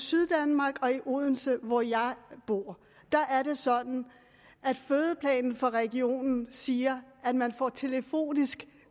syddanmark og i odense hvor jeg bor er det sådan at fødeplanen for regionen siger at man får telefonisk